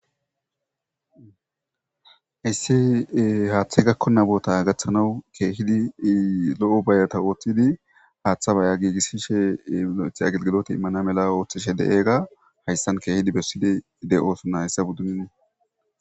Hayssi haaththe gakkonnabota gaththanawu keehidi lo'o bayata ooththidi haaththa baya giigissishe the agelgilota immana mela ooththishe de'eega hayssan keehidi bessidi de'osunna hayssa buddunin